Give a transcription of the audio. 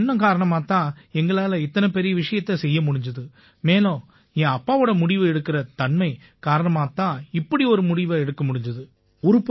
இந்த எண்ணம் காரணமாத் தான் எங்களால இத்தனை பெரிய விஷயத்தைச் செய்ய முடிஞ்சுது மேலும் என் அப்பாவோட முடிவு எடுக்கற தன்மை காரணமாத் தான் இப்படி ஒரு முடிவை எடுக்க முடிஞ்சுது